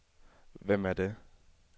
Hvem er det